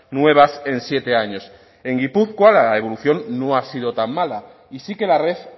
nuevas en siete años en gipuzkoa la evolución no ha sido tan mala y sí que la red